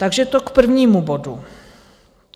Takže to k prvnímu bodu.